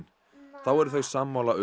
þá eru þau sammála um